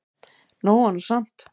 Nóg var nú samt.